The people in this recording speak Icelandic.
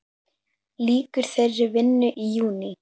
Lýkur þeirri vinnu í júní.